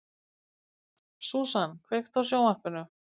Susan, kveiktu á sjónvarpinu.